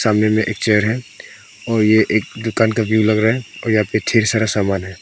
सामने में एक चेयर है और ये एक दुकान का व्यू लग रहा है और यहां पे ढेर सारा सामान है।